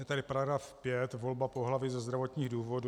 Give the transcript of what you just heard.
Je tady § 5 Volba pohlaví ze zdravotních důvodů.